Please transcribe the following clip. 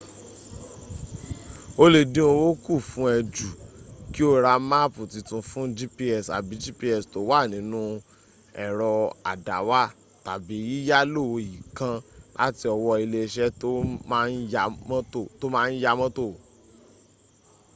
o le din owo kun fun e ju ki o ra maapi titun fun gps abi gps to wa ninu ero adawa tabi yiyalo iikan lati owo ile ise to ma n ya moto